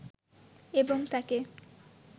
এবং তাকে